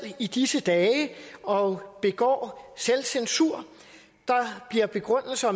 i disse dage og begår selvcensur der er begrundelser